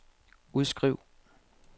udskriv